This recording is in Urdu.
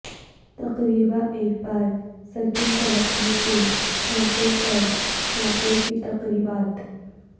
تقریبا ایک بار سکین فلپنے کے موقع پر موقع کی تقریبات